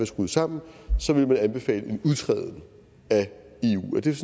skruet sammen så vil man anbefale en udtræden af